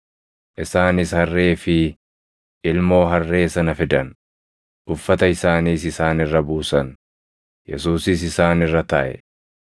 Isaanis harree fi ilmoo harree sana fidan; uffata isaaniis isaan irra buusan; Yesuusis isaan irra taaʼe.